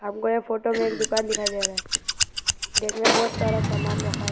हमको ये फोटो में एक दुकान दिखाई दे रहा है रैक में बहोत सारा सामान रखा है।